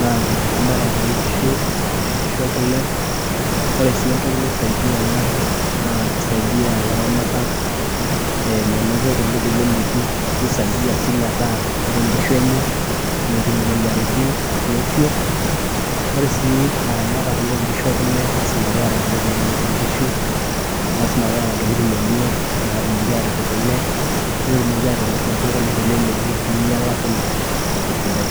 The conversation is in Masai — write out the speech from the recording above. naa eramatare onkishu, noshi kishu ekule. Ore si entoki naisaidia ena, naa kisaidia laramatak menoto kule teleleki, nisaidia si metaa ore nkishu enye, metum imoyiaritin ofioofio. Ore si ilaramatak lo nkishu ekule, na lasima peeta intokiting' nalepie nkishu, lasima peeta ntokiting' enye natumoki atipik kule, petumoki atimir inaduo kule teleleki minyala kule tesidai.